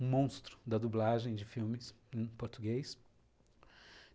um monstro da dublagem de filmes em português.